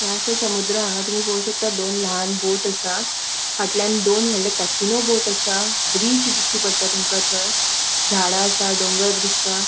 ह्ये आसा समुद्र हा हांगा तुमि पोळो शकता दोन लान बोट असा फाटल्यान दोन वोडले कॅसिनो बोट असा ब्रिज दिष्टी पट्टा तुमका थंय झाडा असा डोंगर दिसता.